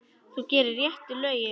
Þú gerir réttu lögin.